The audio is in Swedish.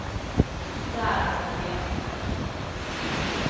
Där har hon levt sen dess.